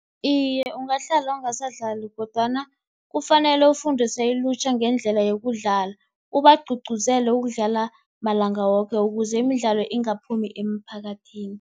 Iye, ungahlala ungasadlali kodwana kufanele ufundise ilutjha ngendlela yokudlala, ubagcugcuzele ukudlala malanga woke ukuze imidlalo ingaphumi emphakathini.